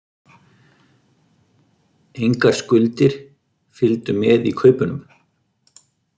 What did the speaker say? Engar skuldir fylgdu með í kaupunum